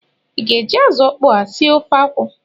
Ị ga-eji azụ ọkpọọ a sie ofe akwụ?